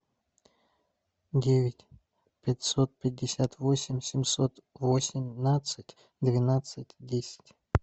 девять пятьсот пятьдесят восемь семьсот восемнадцать двенадцать десять